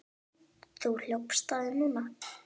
Þú hljópst á þig núna.